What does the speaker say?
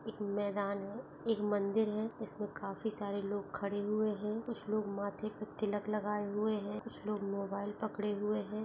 एक मैदान हैं एक मंदिर हैं इसमें काफी सारे लोग खड़े हुए हैं कुछ लोग माथे पे तिलक लगाये हुए हैं कुछ लोग मोबाइल पकड़े हुए हैं।